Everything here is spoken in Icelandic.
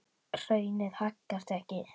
Hraunið haggast ekki.